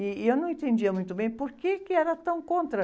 E, e eu não entendia muito bem por que era tão contra.